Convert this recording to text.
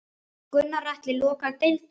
Gunnar Atli: Loka deildum?